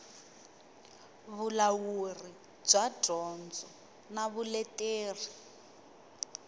vulawuri bya dyondzo na vuleteri